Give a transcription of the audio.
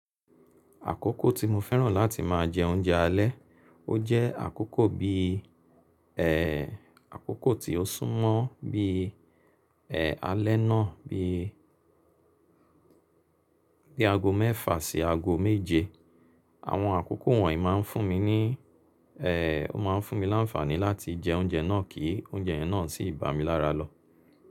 Àkókò tí mo fẹ́ràn láti máa jẹ oúnjẹ alẹ́, ó jẹ́ àkókò bí, ẹ́, àkókò tí ó súnmọ́ bí, ẹ́, alẹ́ náà bí, bí aago mẹ́fà sí aago méje. Àwọn àkókò wọ̀nyí máa ń fún mi ní, ẹ́, ó máa ń fún mi láǹfààní láti jẹ oúnjẹ náà kí oúnjẹ yẹn náà sì bà mí lára lọ.